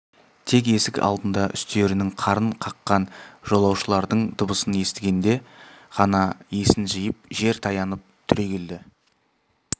тек есік алдында үстерінің қарын қаққан жолаушылардың дыбысын естігенде ғана есін жиып жер таянып түрегелді